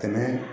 Tɛmɛ